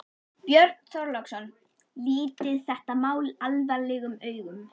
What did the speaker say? Björn Þorláksson: Lítið þetta mál alvarlegum augum?